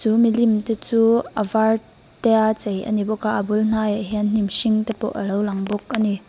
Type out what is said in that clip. milimte chu a var te a chei a ni bawk a a bul hnaiah hian hnim hringte pawh a lo lang bawk a ni.